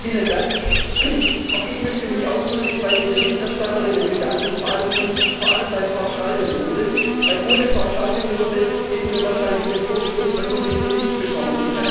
Herr Präsident! Auch ich möchte mich ausdrücklich bei den Berichterstatterinnen bedanken, vor allem bei Frau Schaldemose, denn ohne Frau Schaldemose hätten wir wahrscheinlich den Vorstoß der Kommission nicht bekommen.